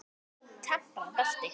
Temprað belti.